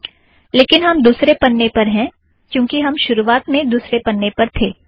लेकिन हम दुसरे पन्ने पर हैं क्यूँकि हम शुरुवात में दुसरे पन्ने पर ही थे